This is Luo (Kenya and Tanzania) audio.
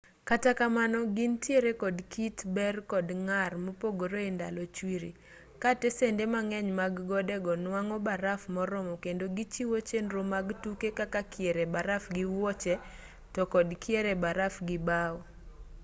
kata kamano gintiere kod kit ber kod ng'ar mopogre e ndalo chwiri ka tesende mang'eny mag gode go nwang'o baraf moromo kendo gichiwo chenro mag tuke kaka kier e baraf gi wuoche to kod kier e baraf gi bao